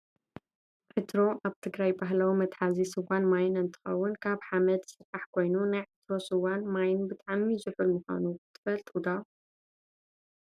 ዕትሮ ኣብ ትግራይ ባህላዊ መትሓዚ ስዋን ማይን እንትከውን፤ ካብ ሓመድ ዝስራሕ ኮይኑ፣ ናይ ዕትሮ ስዋን ማይን ብጣዕሚ ዙሑል ምኳኑ ትፈልጡ ዶ ?